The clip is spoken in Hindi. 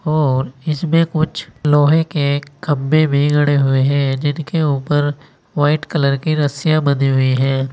और इसमें कुछ लोहे के खम्भे भी गड़े हुए हैं जिनके ऊपर व्हाइट कलर की रसियां बंधी हुई हैं।